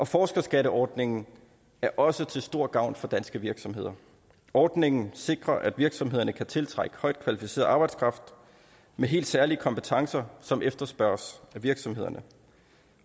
forskerskatteordningen er også til stor gavn for danske virksomheder ordningen sikrer at virksomhederne kan tiltrække højt kvalificeret arbejdskraft med helt særlige kompetencer som efterspørges af virksomhederne